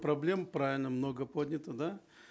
проблем правильно много поднято да